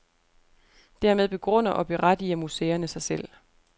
Dermed begrunder og berettiger museerne sig selv.